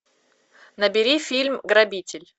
набери фильм грабитель